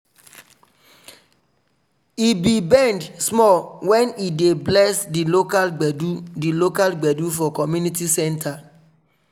he be bend small wen he dey bless di local gbedu di local gbedu for community centre.